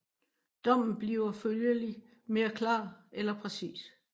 Dommen bliver følgelig mere klar eller præcis